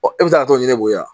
Ɔ e bɛ se ka t'o ɲininbo ya